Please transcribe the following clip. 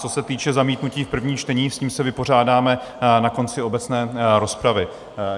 Co se týče zamítnutí v prvním čtení, s tím se vypořádáme na konci obecné rozpravy.